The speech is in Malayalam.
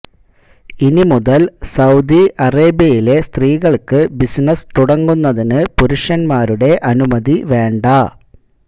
ഇനിമുതല് സൌദി അറേബ്യയിലെ സ്ത്രീകള്ക്ക് ബിസിനസ് തുടങ്ങുന്നതിന് പുരുഷന്മാരുടെ അനുമതി വേണ്ട